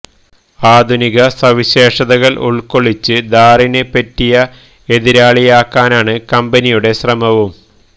ആധുനിക സവിശേഷതകൾ ഉൾക്കൊള്ളിച്ച് ഥാറിന് പറ്റിയ എതിരാളിയാക്കാനാണ് കമ്പനിയുടെ ശ്രമവും